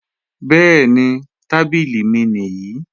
Bẹ́ẹ̀ni, tábìlì mi nìí